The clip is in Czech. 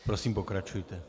Prosím, pokračujte.